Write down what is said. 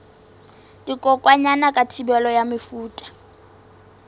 dikokwanyana ka thibelo ya mefuta